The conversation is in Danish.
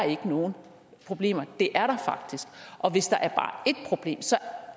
nogen problemer det er der faktisk og hvis der er bare ét problem så